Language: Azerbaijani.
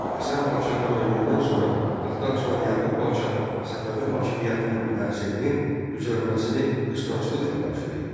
Həsən padşahın ölümündən sonra taxta çıxan Yaqub padşah Səfəvi hakimiyyətinin təsirinin güclənməsini qısqanclıqla qarşılayırdı.